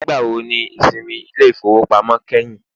Nigbawo ni isinmi ile-ifowopamọ kẹhin?